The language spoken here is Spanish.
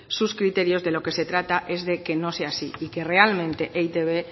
sus criterios de lo que se trata es de que no sea así y que realmente e i te be